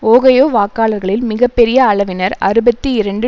Ohio வாக்காளர்களில் மிக பெரிய அளவினர் அறுபத்தி இரண்டு